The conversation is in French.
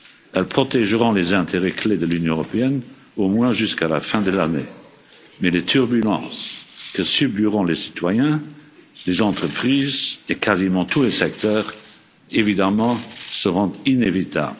Elles protégeront les intérêts clés de l'Union européenne, au moins jusqu'à la fin de l'année, mais les turbulences que subiront les citoyens, les entreprises et quasiment tous les secteurs seront évidemment inévitables.